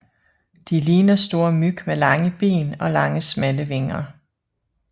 De ligner store myg med lange ben og lange smalle vinger